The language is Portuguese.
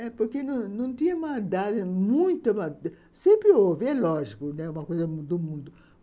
É porque não não tinha uma idade muito... Sempre houve, é lógico, né, uma coisa do mundo.